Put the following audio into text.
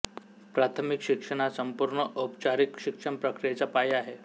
प्राथमिक शिक्षण हा संपूर्ण औपचारिक शिक्षण प्रक्रियेचा पाया आहे